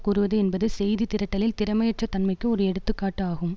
கூறுவது என்பது செய்திதிரட்டலில் திறமையற்ற தன்மைக்கு ஒரு எடுத்து காட்டு ஆகும்